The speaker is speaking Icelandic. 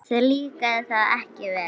Þér líkaði það ekki vel.